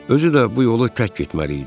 Özü də bu yolu tək getməli idi.